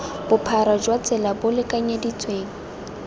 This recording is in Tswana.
bophara jwa tsela bo lekanyeditsweng